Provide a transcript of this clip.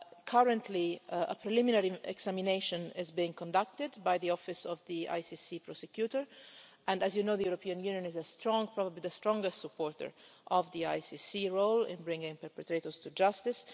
Currently, a preliminary examination is being conducted by the office of the ICC prosecutor and, as you know, the European Union is a strong supporter probably the strongest supporter of the ICC's role in bringing perpetrators to justice.